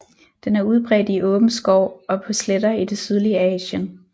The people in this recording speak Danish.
Den er udbredt i åben skov og på sletter i det sydlige Asien